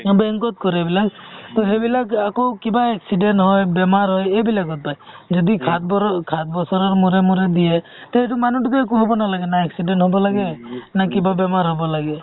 bank ত কৰে এইবিলাক সেইবিলাক আকৌ কিবা accident হয় বেমাৰ হয় এইবিলাকৰ পাই যদি সাত বছৰৰ মোৰে মোৰে দিয়ে তে সেইটো মানুহটোকে কব নালাগে না accident হব লাগে নে কিবা বেমাৰ হব লাগে